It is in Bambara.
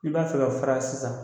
I b'a fɛ k'a fara sisan